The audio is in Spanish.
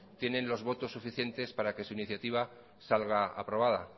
tienen los votos suficientes para que su iniciativa salga aprobada